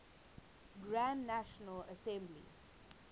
grand national assembly